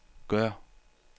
gør